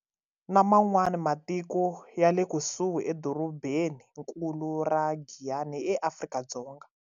Na man'wani matiko ya le kusuhi, edorobeni nkulu ra Giyani eAfrika-Dzonga